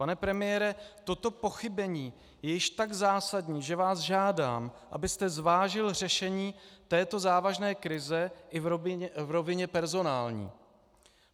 Pane premiére, toto pochybení je již tak zásadní, že vás žádám, abyste zvážil řešení této závažné krize i v rovině personální.